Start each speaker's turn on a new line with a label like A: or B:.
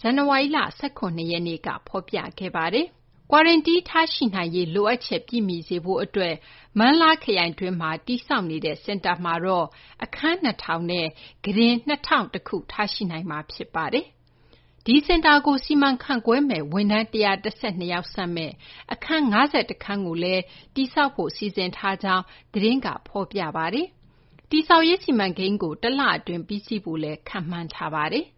A: ဇန်နဝါရီလ ၁၇ ရက်နေ့က ဖော်ပြပါတယ်။ Quarantine ထားရှိနိုင်ရေး လိုအပ်ချက် ပြည့်မီစေဖို့ အတွက် Meng La ခရိုင်တွင်းမှာ တည်ဆောက်နေတဲ့ စင်တာမှာတော့ အခန်း ၂၀၀၀ နဲ့ ကုတင်က ၂၀၀၁ ခု ထားရှိနိုင်မှာ ဖြစ်ပါတယ်။ ဒီစင်တာကို စီမံခန့်ခွဲမယ့် ဝန်ထမ်း ၁၁၂ ယောက်ဆန့်မယ့် အခန်း ၅၁ ခန်းကိုလည်း တည်ဆောက်ဖို့ စီစဉ်ထားကြောင်း သတင်းက ဖော်ပြပါတယ်။ တည်ဆောက်ရေး စီမံကိန်းကို တလ အတွင်း ပြီးစီးဖို့လည်း ခန့်မှန်းထားပါတယ်။